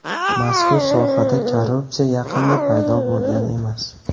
Mazkur sohada korrupsiya yaqinda paydo bo‘lgan emas.